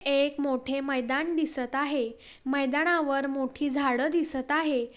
हे एक मोठे मैदान दिसत आहे मैदानावर मोठी झाड दिसत आहे.